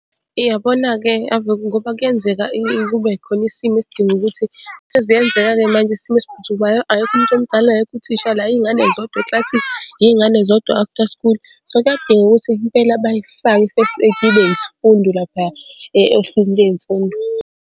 Iyabona-ke ngoba kuyenzeka kube khona isimo esidinga ukuthi seziyenzeka-ke manje isimo esiphuthumayo akekho umuntu omdala akekho uthisha la iy'ngane zodwa eklasini iy'ngane zodwa after school. So, kuyadinga ukuthi impela bayifake i-first aid ibe isifundo laphaya ohlwini ley'mfundo.